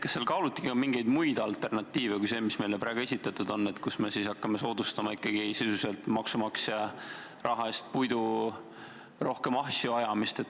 Kas seal kaaluti ka mingeid muid alternatiive kui see, mis meile praegu esitatud on, et me hakkame ikkagi sisuliselt maksumaksja raha eest soodustama puidu rohkem ahju ajamist?